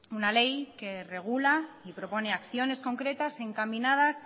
una ley que regula y propone acciones concretas encaminadas